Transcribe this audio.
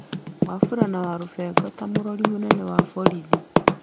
Wafula kana Walubengo ta Mũrori mũnene wa borithi.